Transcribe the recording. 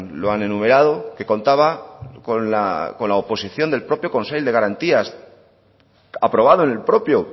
lo han enumerado que contaba con la oposición del propio consell de garantías aprobado en el propio